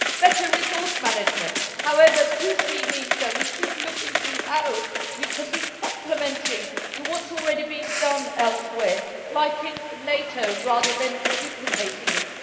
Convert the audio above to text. Better resource management, however, crucially means that we should look into how we can be complementary to what is already being done elsewhere such as NATO rather than duplicating it.